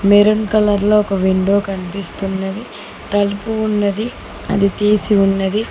Maroon colour లో ఒక window కనిపిస్తున్నది తలుపు ఉన్నది అది తీసి ఉన్నది.